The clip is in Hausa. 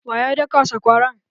Waya daka sakwaran?